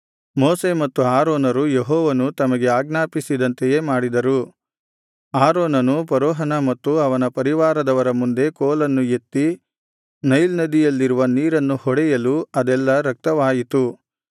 ಮೋಶೆ ಮತ್ತು ಆರೋನರು ಯೆಹೋವನು ತಮಗೆ ಆಜ್ಞಾಪಿಸಿದಂತೆಯೇ ಮಾಡಿದರು ಆರೋನನು ಫರೋಹನ ಮತ್ತು ಅವನ ಪರಿವಾರದ ಮುಂದೆ ಕೋಲನ್ನು ಎತ್ತಿ ನೈಲ್ ನದಿಯಲ್ಲಿರುವ ನೀರನ್ನು ಹೊಡೆಯಲು ಅದೆಲ್ಲಾ ರಕ್ತವಾಯಿತು